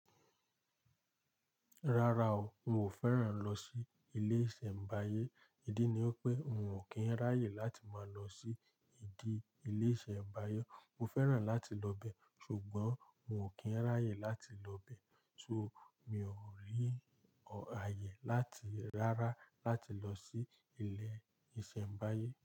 Rárá o, n ò fẹ́ràn lọ sí ilé iṣẹ́ ńbáyé. Ìdí ni pé n ò kí ń ráyè láti máa lọ sí ìdí ilé iṣẹ́ ńbáyé. Mo fẹ́ràn láti lọ bẹ, ṣùgbọ́n n ò kí ń ráyè láti lọ bẹ. So mi ò rí àyè láti rárá láti lọ sí ilé iṣẹ́ ńbáyé.